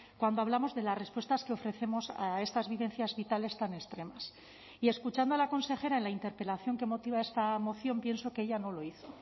cuando hablamos de las respuestas que ofrecemos a estas vivencias vitales tan extremas y escuchando a la consejera en la interpelación que motiva esta moción pienso que ella no lo hizo